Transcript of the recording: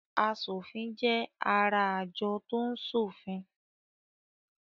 Aṣòfin jẹ́ ará àjọ tó ń ṣòfin.